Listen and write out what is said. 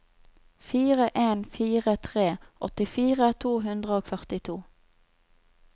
fire en fire tre åttifire to hundre og førtito